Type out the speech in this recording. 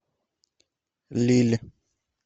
лилль